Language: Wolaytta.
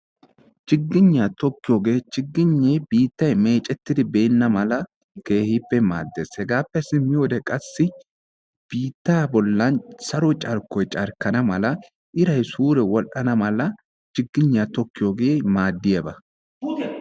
Chigigniya tokkiyogee chigignee biittay meeccettidi beenna mala keehippe maaddes. Hegaappe simmiyoode qassi biittaa bollan saro carkkoy carkkana mala iray suure wodhdhana mala chigigniya tokkiyoogee maaddiyaba.